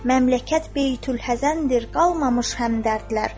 Məmləkət beytülhəzəndir, qalmamış həmdərdlər.